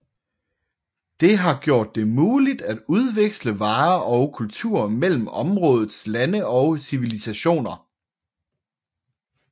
Det har gjort det muligt at udveksle varer og kultur mellem områdets lande og civilisationer